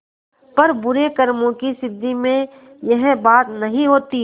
पर बुरे कामों की सिद्धि में यह बात नहीं होती